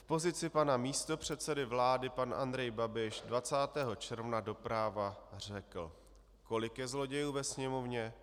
V pozici pana místopředsedy vlády pan Andrej Babiš 20. června do Práva řekl: "Kolik je zlodějů ve Sněmovně?